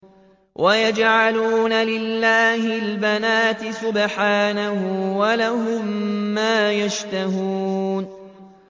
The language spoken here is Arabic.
وَيَجْعَلُونَ لِلَّهِ الْبَنَاتِ سُبْحَانَهُ ۙ وَلَهُم مَّا يَشْتَهُونَ